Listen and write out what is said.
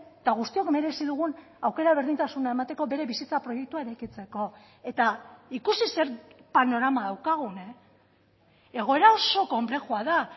eta guztiok merezi dugun aukera berdintasuna emateko bere bizitza proiektua eraikitzeko eta ikusi zer panorama daukagun egoera oso konplexua da